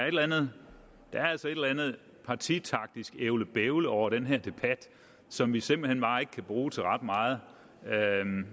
eller andet partitaktisk ævlebævle over den her debat som vi simpelt hen bare ikke kan bruge til ret meget